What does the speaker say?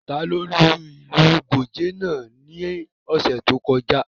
Ta ló lu ìlù Gòjé náà ní ọ̀sẹ̀ tí ó kọjá?